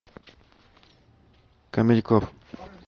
камеди клаб